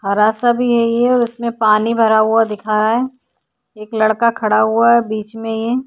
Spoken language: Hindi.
हरा सा भी है ये और इसमें पानी भी भरा हुवा दिखा रहा है। एक लड़का खड़ा हुवा है बीच में ये।